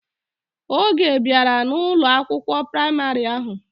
Oge obiara na Ụlọ akwụkwọ praịmarị ahụ.